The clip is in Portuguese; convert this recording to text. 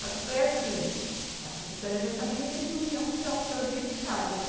Só que foi assim, a professora já sabia que eles não iam tirar o piolho dentro de casa, né?